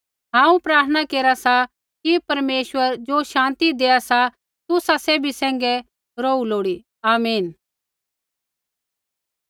हांऊँ प्रार्थना केरा सा कि परमेश्वर ज़ो शान्ति दैआ सा तुसा सैभी सैंघै रौहू लोड़ी आमीन